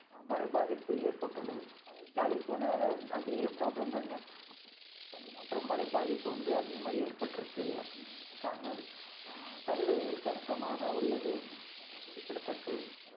மழை பாதிப்பு ஏற்பட்டுள்ளது கலிபோர்னியால அதே problem தாங்க பனி மற்றும் மழை பாதிப்பு வந்து அதிகமா ஏற்பட்டிருக்கு அப்படின்னு சொல்றாங்க தமிழர்கள் கணிசமாக உள்ளது ஆஹ் குறிப்பிடதக்கது